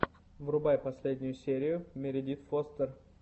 врубай последнюю серию мередит фостер